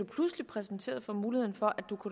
pludselig præsenteret for muligheden for